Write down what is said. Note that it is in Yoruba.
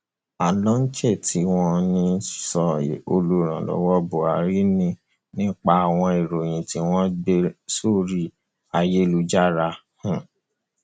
onoche tí wọn um ń sọ yìí olùrànlọwọ buhari ni nípa àwọn ìròyìn tí wọn ń gbé sórí ayélujára um